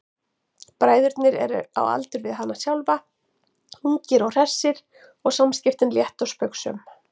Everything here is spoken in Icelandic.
Bræðurnir eru á aldur við hana sjálfa, ungir og hressir og samskiptin létt og spaugsöm.